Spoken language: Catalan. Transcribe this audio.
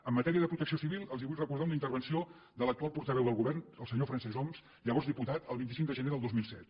en matèria de protecció civil els vull recordar una intervenció de l’actual portaveu del govern el senyor francesc homs llavors diputat el vint cinc de gener del dos mil set